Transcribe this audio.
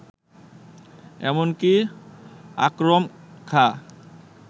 এমনকি আকরম খাঁ